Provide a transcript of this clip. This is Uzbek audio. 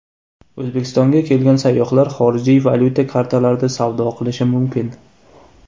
O‘zbekistonga kelgan sayyohlar xorijiy valyuta kartalarida savdo qilishi mumkin.